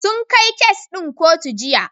Sun kai kes ɗin kotu Jiya.